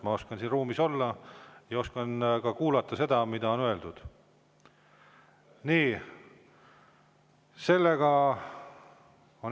Ma oskan siin ruumis olla ja oskan ka kuulata seda, mida öeldakse.